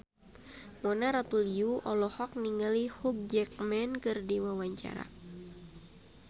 Mona Ratuliu olohok ningali Hugh Jackman keur diwawancara